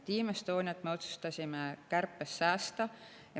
Team Estoniat me otsustasime kärpest säästa.